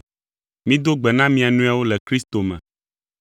Mido gbe na mia nɔewo le Kristo me.